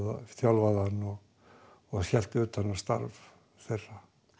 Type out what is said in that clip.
þjálfaði hann og hélt utan um starf þeirra